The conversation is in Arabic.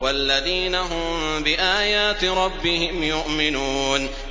وَالَّذِينَ هُم بِآيَاتِ رَبِّهِمْ يُؤْمِنُونَ